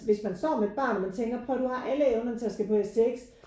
Hvis man står med et barn og man tænker prøv at høre her du har alle evnerne til at skulle på STX